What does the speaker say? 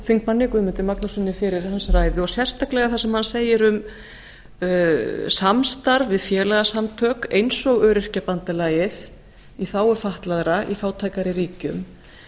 þingmanni guðmundi magnússyni fyrir ræðu hans og sérstaklega það sem hann segir um samstarf við félagasamtök eins og öryrkjabandalagið í þágu fatlaðra í fátækari ríkjum